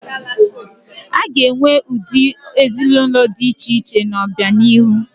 A ga-enwe ụdị ezinaụlọ dị iche iche n'obianihu.